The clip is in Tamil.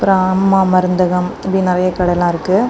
அப்பரோ அம்மா மருந்தகம் இப்டி நிறைய கடைல்லா இருக்கு.